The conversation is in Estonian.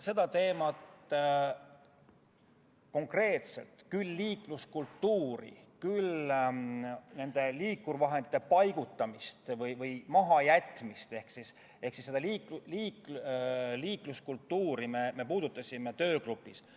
Seda teemat me konkreetselt, küll aga puudutasime töögrupis liikluskultuuri ja nende liikurvahendite paigutamist või mahajätmist.